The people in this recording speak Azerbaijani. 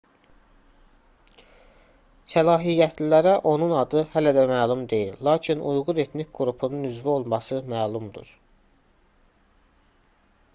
səlahiyyətlilərə onun adı hələ də məlum deyil lakin uyğur etnik qrupunun üzvü olması məlumdur